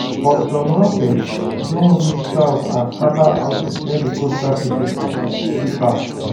but some rockets don reach south and scata houses near di coastal city for haifa